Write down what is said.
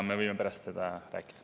Me võime pärast sellest rääkida.